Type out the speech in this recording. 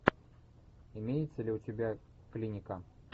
имеется ли у тебя клиника